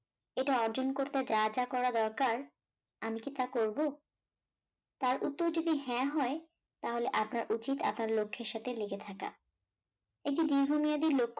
এটা অর্জন করতে যা যা করা করা দরকার আমি কি তা করব, তার উত্তর যদি হা হয়, তাহলে আপনার উচিত আপনার লক্ষ্যের সাথে লেগে থাকা একটি দীর্ঘমেয়াদী লক্ষ্য